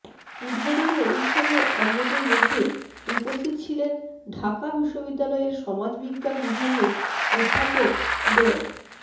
উদ্বোধনী অনুষ্ঠানে অন্যদের মধ্যে উপস্থিত ছিলেন ঢাকা বিশ্ববিদ্যালয়ের সমাজবিজ্ঞান বিভাগের অধ্যাপক ড